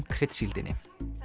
kryddsíldinni